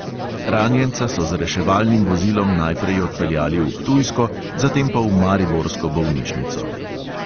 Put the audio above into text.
Ranjenca so z reševalnim vozilom najprej odpeljali v ptujsko, zatem pa v mariborsko bolnišnico.